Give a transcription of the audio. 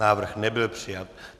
Návrh nebyl přijat.